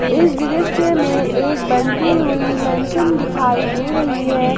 इस दृश्य में एक बनती हुई मेंशन दिखाई दे रही है।